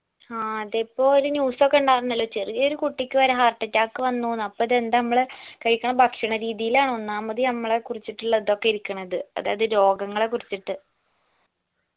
ആ അതിപ്പോ ഒരു news ഒക്ക ഇണ്ടാവുന്നല്ലോ ചെറിയ ചെറിയ കുട്ടിക്ക് വരെ heart attack വന്നൂന്ന് അപ്പൊ ഇതെന്താ നമ്മൾ കഴിക്കുന്ന ഭക്ഷണ രീതിലാന്ന് ഒന്നാമത് നമ്മളെ കുറിച്ചിട്ടുള്ള അതൊക്കെ ഇരിക്കിണത് അതായത് രോഗങ്ങളെ കുറിച്ചിട്ട്